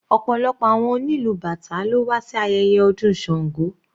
Ọ̀pọ̀lọpọ̀ àwọn onílù bàtá ló wà sí ayẹyẹ ọdún Sango.